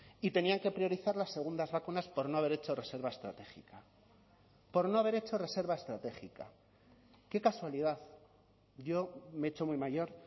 y tenían que priorizar las segundas vacunas por no haber hecho reserva estratégica por no haber hecho reserva estratégica qué casualidad yo me he hecho muy mayor